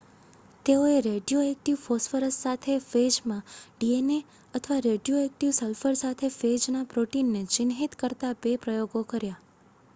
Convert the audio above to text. તેઓએ radioactive phosphorus સાથે ફેજમાં ડીએનએ અથવા રેડિયોએક્ટિવ સલ્ફર સાથે ફેજના પ્રોટીનને ચિહ્નિત કરતા 2 પ્રયોગો કર્યા